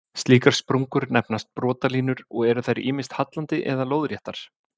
Slíkar sprungur nefnast brotalínur og eru þær ýmist hallandi eða lóðréttar.